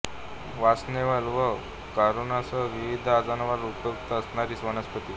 वासनवेल व करोनासह विविध आजारांवर उपयुक्त असणारी वनस्पती